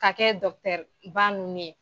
Ka kɛ ba ninnu ye.